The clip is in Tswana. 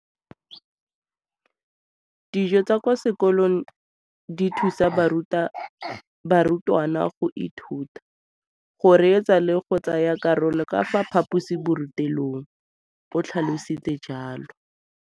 Dijo tsa kwa sekolong dithusa barutwana go ithuta, go reetsa le go tsaya karolo ka fa phaposiborutelong, o tlhalositse jalo.